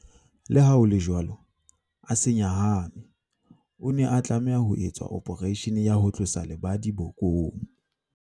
Leha ho le jwalo, a se nyahame. O ne a tlameha ho etswa ophareishene ya ho tlosa lebadi bokong.